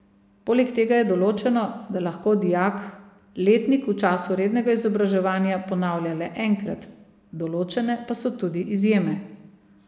Poleg tega je določeno, da lahko dijak letnik v času rednega izobraževanja ponavlja le enkrat, določene pa so tudi izjeme.